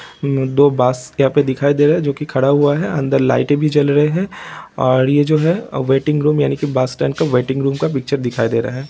दो बस यहाँ पे दिखाई दे रहा है जो की खड़ा हुआ है| अंदर लाइट भी जल रही है और यह जो वेटिंग रूम यानी की बस स्टैंड का वेटिंग रूम का पिक्चर दिखाई दे रहा है।